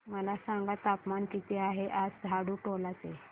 मला सांगा तापमान किती आहे आज झाडुटोला चे